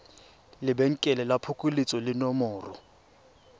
lebenkele la phokoletso le nomoro